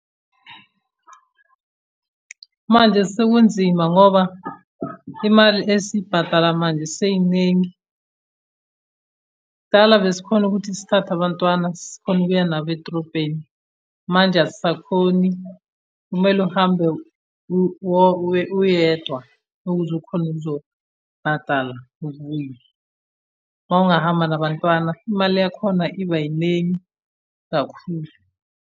Manje sekunzima ngoba, imali esiyibhadala manje seyiningi. Kudala besikhona ukuthi sithathe abantwana sikhone ukuya nabo edrobheni. Manje asisakhoni, kumele uhambe uyedwa, ukuze ukhone ukuzobhadala ukubuya. Uma ungahamba nabantwana imali yakhona iba yiningi kakhulu.